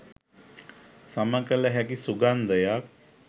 සමකල හැකි සුගන්ධයක්